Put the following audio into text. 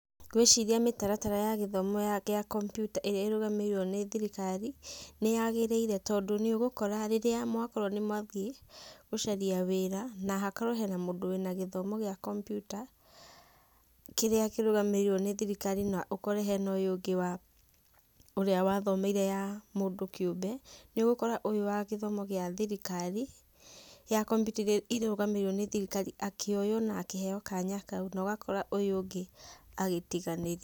Ngũĩciria mĩtaratara ya gĩthomo gĩa kompiuta ĩrĩa ĩrũgamĩrĩirwo nĩ thirikari nĩyagĩrĩire tondũ nĩ ũgũkora rĩrĩa mwakorwo nĩ mwathiĩ gũcaria wĩra na hakorwo hena mũndũ wĩna gĩthomo gĩa kompiuta kĩrĩa kĩrũgamĩrĩirwo nĩ thirikari na ũkore hena ũyũ ũngĩ wa, ũrĩa wathomeire ya mũndũ kĩũmbe, nĩ ũgũkora ũyũ wa gĩthomo gĩa thirikari, ya kompiuta iria irũgamĩrĩirwo nĩ thirikari akĩoyo na akĩheo kanya kau na ũgakora ũyũ ũngĩ agĩtiganĩrio.